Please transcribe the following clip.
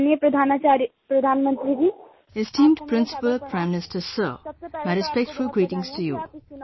"Esteemed Principal, Prime Minister Sir, my respectful greetings to you